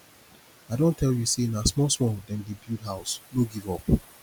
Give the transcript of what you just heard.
i don tell you sey na small small dem dey build house no give up